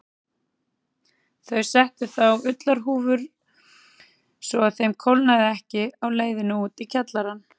Þau settu þá í ullarhúfur svo að þeim kólnaði ekki á leiðinni út í kjallarann.